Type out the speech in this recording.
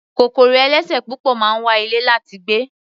Kòkòrò ẹlẹ́sẹ̀ púpọ̀ máa ń wa ilẹ̀ láti gbé.